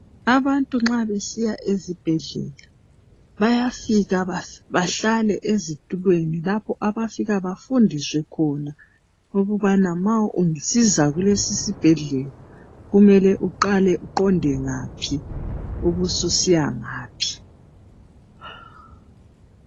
Abantu nxa besiya esibhedlela bayafika bahlale ezitulweni lapho abafika bafundiswe khona ukuba nxa usiza kulesisibhedlela kumele uqale uqonde ngaphi ubususiya ngaphi.